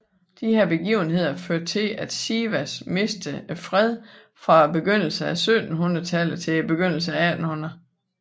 Disse begivenheder førte til at Sivas mistede freden fra begyndelsen af 1700 tallet til begyndelsen af 1800